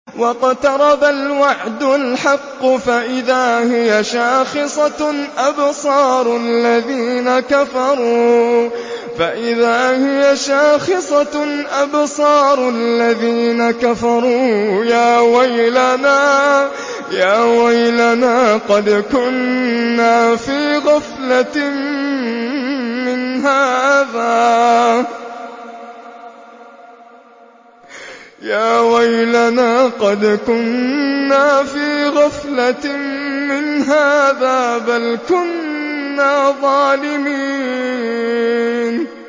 وَاقْتَرَبَ الْوَعْدُ الْحَقُّ فَإِذَا هِيَ شَاخِصَةٌ أَبْصَارُ الَّذِينَ كَفَرُوا يَا وَيْلَنَا قَدْ كُنَّا فِي غَفْلَةٍ مِّنْ هَٰذَا بَلْ كُنَّا ظَالِمِينَ